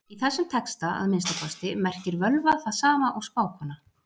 Í þessum texta, að minnsta kosti, merkir völva það sama og spákona.